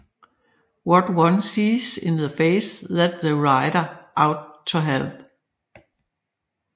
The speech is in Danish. What one sees is the face that the writer ought to have